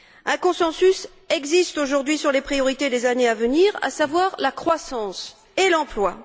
Un consensus existe, aujourd'hui, sur les priorités des années à venir, à savoir la croissance et l'emploi.